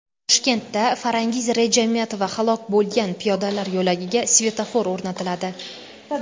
Toshkentda Farangiz Rejametova halok bo‘lgan piyodalar yo‘lagiga svetofor o‘rnatiladi.